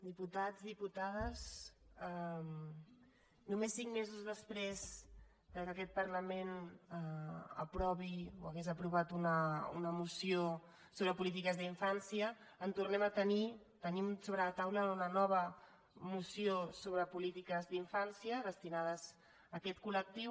diputats diputades només cinc mesos després que aquest parlament aprovi o hagués aprovat una moció sobre polítiques d’infància en tornem a tenir tenim sobre la taula una nova moció sobre polítiques d’infància destinades a aquest col·lectiu